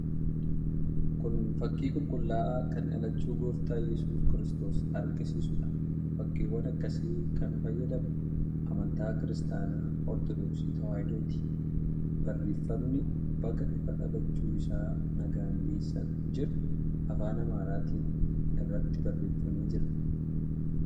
Kun fakkii qulqulla'aa kan dhalachuu Gooftaa Iyyesuus Kiristoos agarsiisuudha. Fakkiiwwan akkasii kan fayyadamu amantaa Kiristaanaa Ortodoksii Tewaahidooti. Barreeffamni 'Baga ifa dhalachuu isaa nagaan geessan" jedhu afaan Amaaraatiin irratti barreeffamee jira.